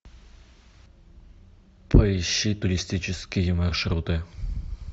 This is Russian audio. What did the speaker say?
поищи туристические маршруты